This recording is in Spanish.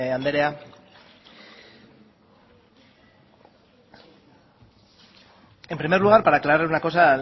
andrea en primer lugar para aclarar una cosa